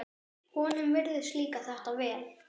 Honum virðist líka þetta vel.